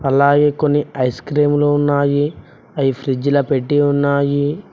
అలాగే కొన్ని ice cream లు ఉన్నాయి అవి ఫ్రిజ్ల పెట్టి ఉన్నాయి.